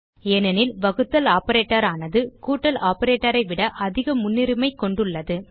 ஏனெனில் வகுத்தல் ஆப்பரேட்டர் ஆனாது கூட்டல் operatorஐ விட அதிக முன்னுரிமைக் கொண்டுள்ளது